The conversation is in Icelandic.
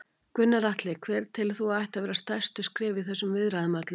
Gunnar Atli: Hver telur þú að ættu að vera næstu skref í þessum viðræðum öllum?